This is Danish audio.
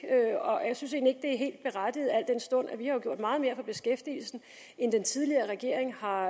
og jeg synes egentlig ikke at det er helt berettiget al den stund vi har gjort meget mere for beskæftigelsen end den tidligere regering har